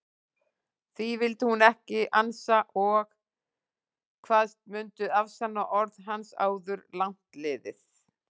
Því vildi hún ekki ansa og kvaðst mundu afsanna orð hans áður langt liði.